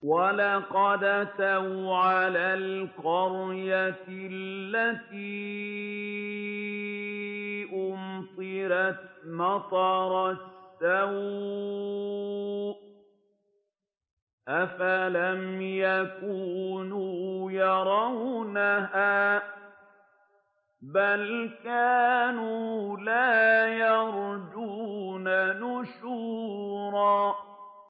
وَلَقَدْ أَتَوْا عَلَى الْقَرْيَةِ الَّتِي أُمْطِرَتْ مَطَرَ السَّوْءِ ۚ أَفَلَمْ يَكُونُوا يَرَوْنَهَا ۚ بَلْ كَانُوا لَا يَرْجُونَ نُشُورًا